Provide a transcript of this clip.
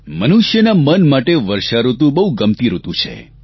મનુષ્યના મન માટે વર્ષાઋતુ બહુ ગમતી ઋતુ છે